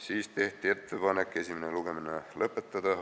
Siis tehti ettepanek esimene lugemine lõpetada.